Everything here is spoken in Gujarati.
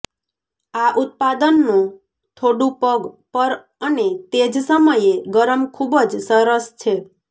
આ ઉત્પાદનો થોડું પગ પર અને તે જ સમયે ગરમ ખૂબ જ સરસ છે